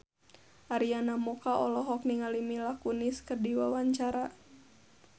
Arina Mocca olohok ningali Mila Kunis keur diwawancara